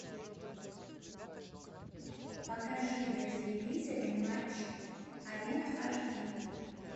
покажи на телевизоре матч арена аш ди